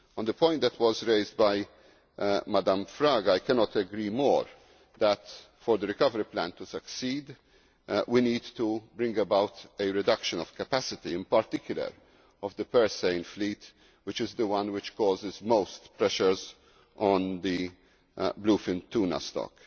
On the point that was raised by Mrs Fraga Estévez, I cannot agree more that, for the recovery plan to succeed, we need to bring about a reduction of capacity, in particular, of the purse seine fleet, which is the one which causes most pressures on the bluefin tuna stock.